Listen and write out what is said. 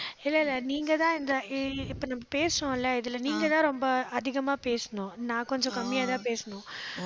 இல்லை, இல்லை, நீங்கதான் இந்த இப்ப நம்ம பேசறோம்ல, இதுல நீங்கதான் ரொம்ப அதிகமா பேசணும். நான் கொஞ்சம் கம்மியாதான் பேசணும்.